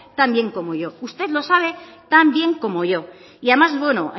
tan bien como yo usted lo sabe tan bien como yo y además bueno